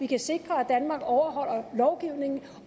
kan sikre at danmark overholder lovgivningen